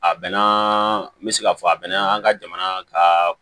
A bɛnna n bɛ se k'a fɔ a bɛna an ka jamana ka